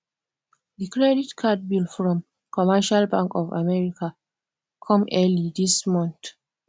the credit card bill from commercial bank of america come early this month